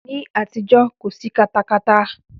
Ní àtijọ́, kò sí katakata.